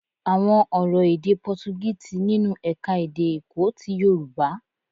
Àwọn ọ̀rọ̀ èdè Pọtugí ti nínú ẹ̀ka-èdè Èkó ti Yorùbá.